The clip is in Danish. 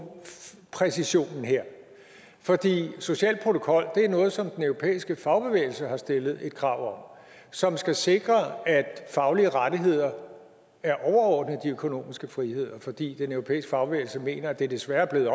præcision her fordi social protokol er noget som den europæiske fagbevægelse har stillet et krav om som skal sikre at faglige rettigheder er overordnet de økonomiske friheder fordi den europæiske fagbevægelse mener at det desværre er blevet